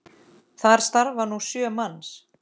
Þar starfa nú sjö manns.